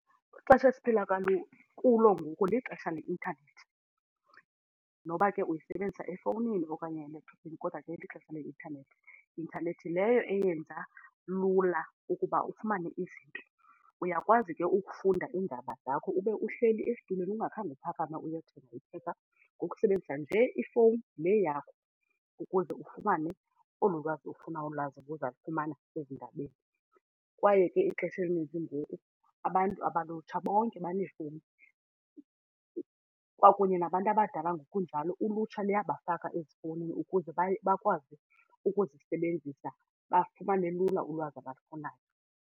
Kwixesha esiphila kulo ngoku lixesha leintanethi. Noba ke uyisebenzisa efowunini okanye kuphi kodwa ke lixesha leintanethi, intanethi leyo eyenza lula ukuba ufumane izinto. Uyakwazi ke ukufunda iindaba zakho ube uhleli esitulweni ungakhange uphakame uyothenga iphepha ngokusebenzisa nje ifowuni le yakho ukuze ufumane olu lwazi ofuna ulwazi uza lufumana ezindabeni kwaye ke ixesha elininzi ngoku abantu abalulutsha bonke baneefowuni. Kwakunye nabantu abadala ngokunjalo ulutsha luyabafaka ezifowunini ukuze baye bakwazi ukuzisebenzisa bafumane lula ulwazi abalufunayo.